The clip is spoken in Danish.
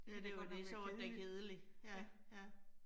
Ja, det jo det, så var det da kedeligt. Ja, ja